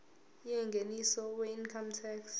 yengeniso weincome tax